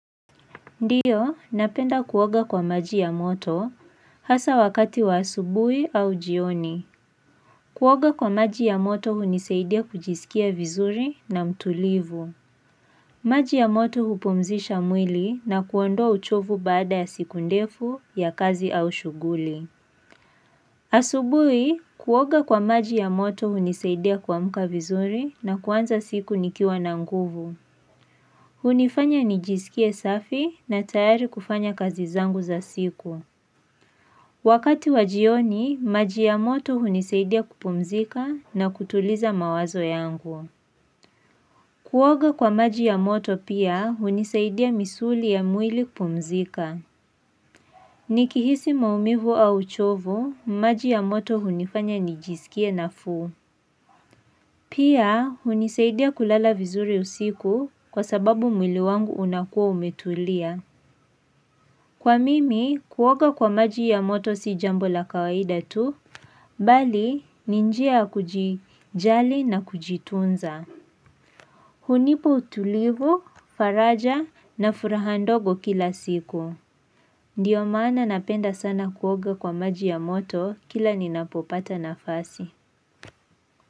Ndiyo, napenda kuoga kwa maji ya moto hasaa wakati wa asubui au jioni. Kuoga kwa maji ya moto hunisaidia kujisikia vizuri na mtulivu. Maji ya moto hupumzisha mwili na kuondoa uchovu baada ya siku ndefu ya kazi au shughuli. Asubui, kuoga kwa maji ya moto hunisaidia kuamka vizuri na kuanza siku nikiwa na nguvu. Hunifanya nijisikie safi na tayari kufanya kazi zangu za siku. Wakati wajioni, maji ya moto hunisaidia kupumzika na kutuliza mawazo yangu. Kuoga kwa maji ya moto pia hunisaidia misuli ya mwili kupumzika. Nikihisi maumivu au uchovu, maji ya moto hunifanya nijisikie na nafuu. Pia hunisaidia kulala vizuri usiku kwa sababu mwili wangu unakua umetulia. Kwa mimi kuoga kwa maji ya moto si jambo la kawaida tu, bali ninjia ya kujijali na kujitunza. Hunipa utulivu, faraja na furaha ndogo kila siku. Ndiyo maana napenda sana kuoga kwa maji ya moto kila ninapopata nafasi.